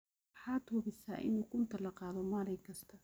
Waxad hubisa in ukunta la qadhoo maalin kasta.